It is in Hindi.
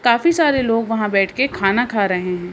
काफी सारे लोग वहां बैठ के खाना खा रहे हैं।